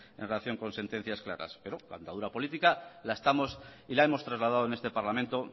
en relación con sentencias claras pero la andadura política la estamos y la hemos trasladado en este parlamento